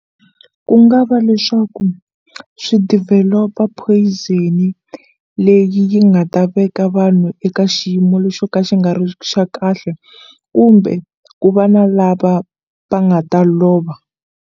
Ku nga va leswaku swi develop-a poison leyi nga ta veka vanhu eka xiyimo le xo ka xi nga ri xa kahle kumbe ku va na lava va nga ta lova.